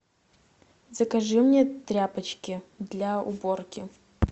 закажи мне тряпочки для уборки